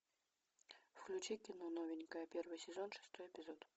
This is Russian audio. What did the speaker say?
включи кино новенькая первый сезон шестой эпизод